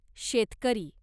शेतकरी